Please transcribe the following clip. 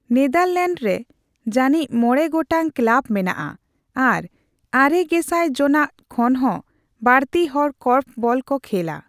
Netherlands ᱨᱮ ᱡᱟᱹᱱᱤᱡ ᱢᱚᱲᱮ ᱜᱚᱴᱟᱝ ᱠᱞᱟᱵ ᱢᱮᱱᱟᱜᱼᱟ ᱟᱨ ᱟᱨᱮ ᱜᱮᱥᱟᱭ ᱡᱚᱱᱟ ᱠᱷᱚᱱ ᱦᱚᱸ ᱵᱟᱹᱲᱛᱤ ᱦᱚᱲ ᱠᱚᱨᱯᱷ ᱵᱚᱞ ᱠᱚ ᱠᱷᱮᱞᱟ ᱾